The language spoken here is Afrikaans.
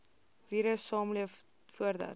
virus saamleef voordat